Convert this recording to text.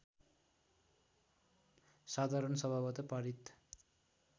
साधारण सभाबाट पारित